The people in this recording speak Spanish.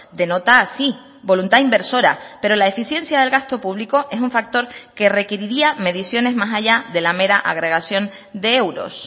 denota así voluntad inversora pero la eficiencia del gasto público es un factor que requeriría mediciones más allá de la mera agregación de euros